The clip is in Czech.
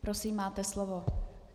Prosím, máte slovo.